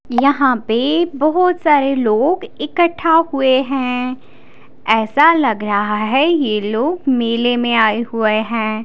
यहां पे बहुत सारे लोग इकट्ठा हुए हैं ऐसा लग रहा है यह लोग मेले में आए हुए हैं।